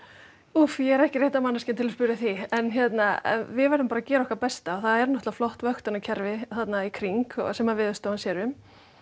úff ég er ekki rétta manneskjan til að spyrja að því en við verðum bara að gera okkar besta það er náttúrulega flott vöktunarkerfi þarna í kring sem að Veðurstofan sér um